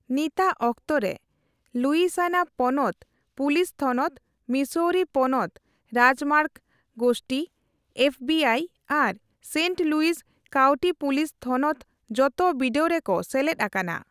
ᱱᱤᱛᱟᱹᱜ ᱚᱠᱛᱚ ᱨᱮ, ᱞᱩᱭᱥᱤᱭᱟᱱᱟ ᱯᱚᱱᱚᱛ ᱯᱩᱞᱤᱥ ᱛᱷᱚᱱᱚᱛ, ᱢᱤᱥᱳᱨᱤ ᱯᱚᱱᱚᱛ ᱨᱟᱡᱽᱢᱟᱨᱜ ᱜᱚᱥᱛᱤ, ᱮᱯᱷᱵᱤᱟᱤ, ᱟᱨ ᱥᱮᱸᱱᱴ ᱞᱩᱤᱡ ᱠᱟᱩᱴᱤ ᱯᱩᱞᱤᱥ ᱛᱷᱚᱱᱚᱛ ᱡᱚᱛᱚ ᱵᱤᱰᱟᱣ ᱨᱮᱠᱚ ᱥᱮᱞᱮᱫ ᱟᱠᱟᱱᱟ᱾